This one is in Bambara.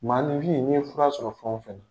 Maa ninfin ni ye fura sɔrɔ fɛn o fɛn na.